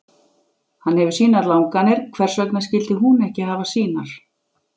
Hann hefur sínar langanir, hvers vegna skyldi hún ekki hafa sínar?